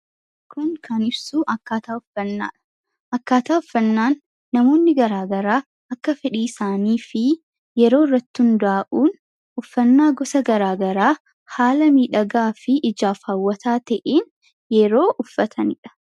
kun kanibsuu akkaataa uffannaan namoonni garaagaraa akka fedhii isaanii fi yeroo irratti hundaa'uun uffannaa gosa garaagaraa haala miidhagaa fi ijaafaawwataa ta'iin yeroo uffataniidha